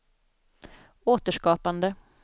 återskapande